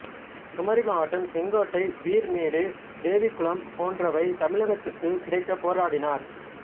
குமரி மாவட்டம் செங்கோட்டை பீர் மேடு தேவிக்குளம் போன்றவை தமிழகத்துக்குக் கிடைக்கப் போராடினார்